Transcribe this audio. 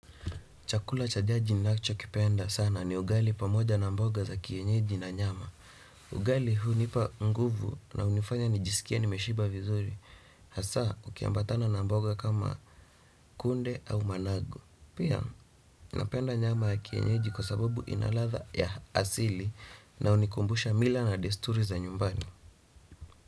Chakula cha jadi ninacho kipenda sana ni ugali pamoja na mboga ya kienyeji na nyama. Ugali hunipa nguvu na hunifanya nijisikie nimeshiba vizuri. Hasa ukiambatana na mboga kama kunde au managu pia napenda nyama ya kienyeji kwa sababu ina ladha ya asili na hunikumbusha mila na desturi za nyumbani.